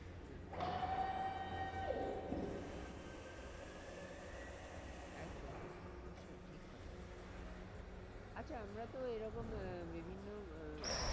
হম একদম একদম একদম অবশ্যই ঠিক কথা একদম আচ্ছা আমরা তো এরকম আহ বিভিন্ন আহ